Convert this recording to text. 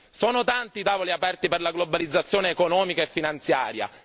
Sono tanti i tavoli aperti per la globalizzazione economica e finanziaria.